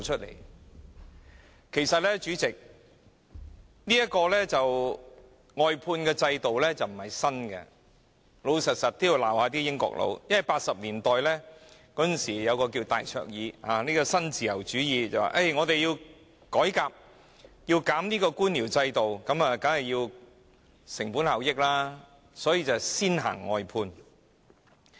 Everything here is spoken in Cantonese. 老實說，我也要指責那些"英國佬"，因為在1980年代有一位名叫戴卓爾的人，推行新自由主義改革，要削減官僚制度，提高成本效益，遂推出了外判制度。